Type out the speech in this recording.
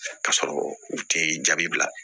Ka sɔrɔ u tɛ jaabi bila